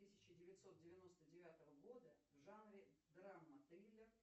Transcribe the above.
тысяча девятьсот девяносто девятого года в жанре драма триллер